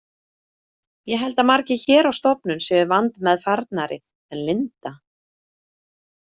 Ég held að margir hér á stofnun séu vandmeðfarnari en Linda.